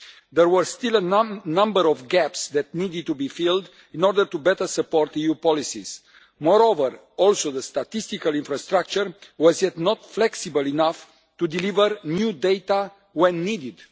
There were still a number of gaps that needed to be filled in order to better support EU policies. Moreover, the statistical infrastructure was also not yet flexible enough to deliver new data when needed.